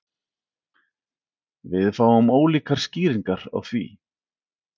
Við fáum ólíkar skýringar á því